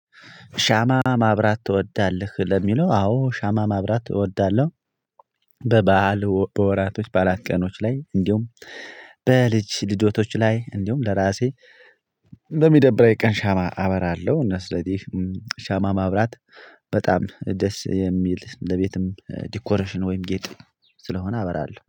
ሻማ ማብራት ትወዳለህ? ለሚለው አዎ ሻማ ማብራት እወዳለሁ። በበዓል በወራቶች በዓላት ቀኖች ላይ እንዲሁም በልጅ ልደቶች ላይ እንዲሁም ለራሴ። በሚደብኝ ቀን ሻማ አበራለሁ እና ስለዚህ ሻማ ማብራት በጣም ደስ የሚል እንደቤትም ዲኮሬሽን ወይም ጌጥ ስለሆነ አበራለሁ